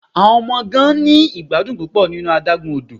Awọn ọmọ gan ni igbadun pupọ ninu adagun odo